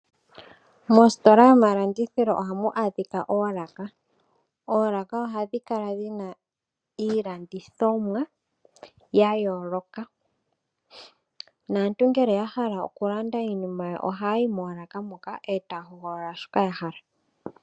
Moositola dhomalandithilo ohamu adhika oolaka. Oolaka ohadhi kala dhi na iilandithomwa ya yooloka, naantu ngele ya hala okulanda iinima yawo ohaya yi moolaka moka eta ya hogolola shoka ya hala.